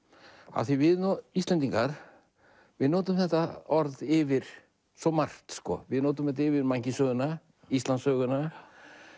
af því við Íslendingar við notum þetta orð yfir svo margt við notum þetta yfir mannkynssöguna Íslandssöguna